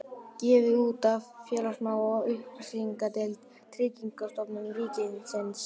Gefið út af félagsmála- og upplýsingadeild Tryggingastofnunar ríkisins